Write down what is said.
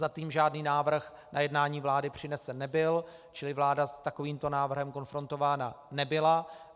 Zatím žádný návrh na jednání vlády přinesen nebyl, čili vláda s takovým návrhem konfrontována nebyla.